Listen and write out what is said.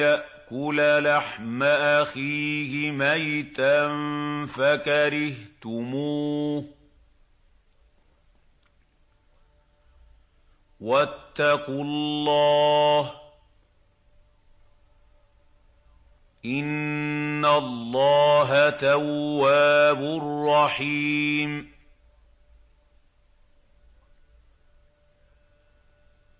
يَأْكُلَ لَحْمَ أَخِيهِ مَيْتًا فَكَرِهْتُمُوهُ ۚ وَاتَّقُوا اللَّهَ ۚ إِنَّ اللَّهَ تَوَّابٌ رَّحِيمٌ